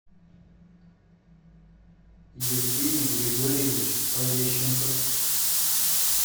евгений григорьевич полещенков